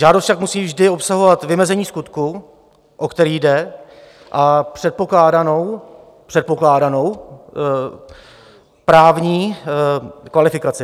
Žádost však musí vždy obsahovat vymezení skutku, o který jde, a předpokládanou právní kvalifikaci.